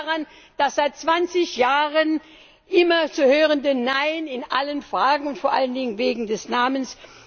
Das liegt an dem seit 20 Jahren immer zu hörende Nein in allen Fragen, vor allen Dingen wegen des Namens.